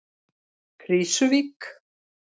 Krísuvík